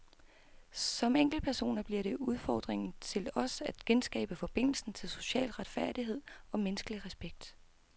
Som enkeltpersoner bliver det udfordringen til os at genskabe forbindelsen til social retfærdighed og menneskelig respekt.